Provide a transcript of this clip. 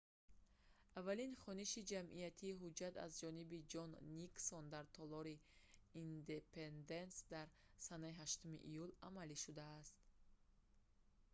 аввалин хониши ҷамъиятии ҳуҷҷат аз ҷониби ҷон никсон дар толори индепенденс дар санаи 8 июл амалӣ шудааст